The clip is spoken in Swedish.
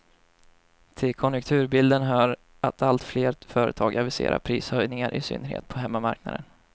Till konjunkturbilden hör att allt fler företag aviserar prishöjningar, i synnerhet på hemmamarknaden.